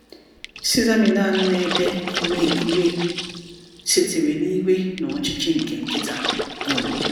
"Cesar Millan na-ede, 'iwe 'iwe sitere na iwe na ọchịchị nke nkịta.'" um